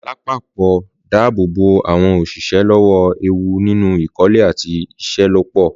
Lápapọ̀ dáàbò bo àwọn òṣìṣẹ́ lọ́wọ́ ewu nínú ìkọ́lé àti ìṣelọ́pọ̀.